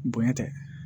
Bonya tɛ